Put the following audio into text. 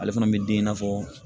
Ale fana bɛ den i n'a fɔ